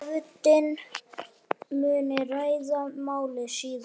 Nefndin muni ræða málið síðar.